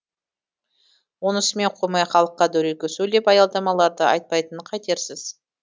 онысымен қоймай халыққа дөрекі сөйлеп аялдамаларды айтпайтынын қайтерсіз